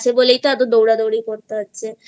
বলেই দৌড়াদৌড়ি করতে হচ্ছে